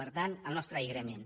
per tant el nostre agraïment